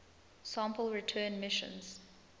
sample return missions